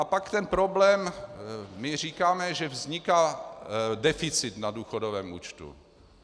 A pak ten problém - my říkáme, že vzniká deficit na důchodovém účtu.